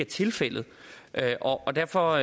tilfældet og derfor